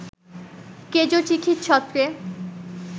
কেজো চিঠির ছত্রে